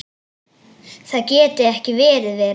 Það gæti ekki verið verra.